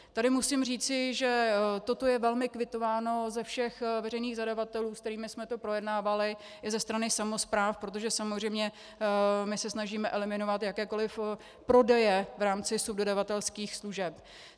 Tady musím říci, že toto je velmi kvitováno za všech veřejných zadavatelů, se kterými jsme to projednávali, i ze strany samospráv, protože samozřejmě my se snažíme eliminovat jakékoliv prodeje v rámci subdodavatelských služeb.